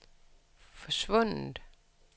forsvundet